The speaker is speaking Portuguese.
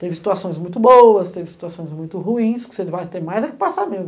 Teve situações muito boas, teve situações muito ruins, que você vai ter mais é que passar mesmo.